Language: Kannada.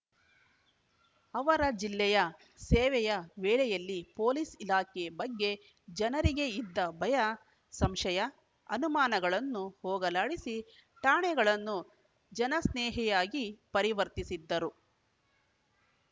ಅವರ ಜಿಲ್ಲೆಯ ಸೇವೆಯ ವೇಳೆಯಲ್ಲಿ ಪೊಲೀಸ್‌ ಇಲಾಖೆ ಬಗ್ಗೆ ಜನರಿಗೆ ಇದ್ದ ಭಯ ಸಂಶಯ ಅನುಮಾನಗಳನ್ನು ಹೋಗಲಾಡಿಸಿ ಠಾಣೆಗಳನ್ನು ಜನಸ್ನೇಹಿಯಾಗಿ ಪರಿವರ್ತಿಸಿದ್ದರು